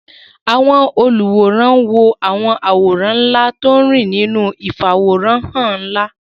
Àwọn olùwòran wo àwọn àwòrán ńlá tó ń rìn nínú ìfàwòránhàn ńlá